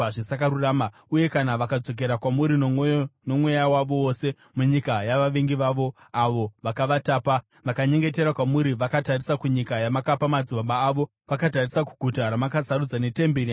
uye kana vakadzokera kwamuri nomwoyo nomweya wavo wose munyika yavavengi vavo avo vakavatapa vakanyengetera kwamuri vakatarisa kunyika yamakapa madzibaba avo, vakatarisa kuguta ramakasarudza netemberi yandavakira Zita renyu;